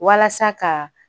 Walasa ka